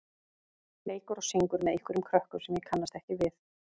leikur og syngur með einhverjum krökkum sem ég kannast ekki við.